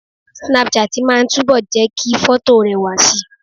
Snapchat máa ń túbọ̀ jẹ́ kí fọ́tò rẹwà si